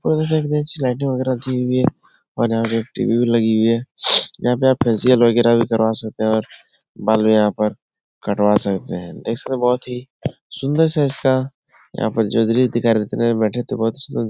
वगैरह की हुई है और यहाँ पर टी वी भी लगी हुई है। यहाँ पर आप उसे फेशियल वगैरह भी करवा सकते हैं और बाल भी यहाँ पर कटवा सकते हैं। इसमें बोहोत ही सुंदर सा इसका यहाँ पर